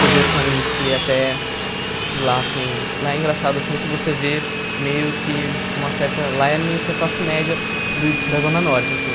Teve outros amigos que até... De lá, assim... Lá é engraçado, assim, que você vê meio que uma certa... Lá é meio que a classe média do da Zona Norte, assim.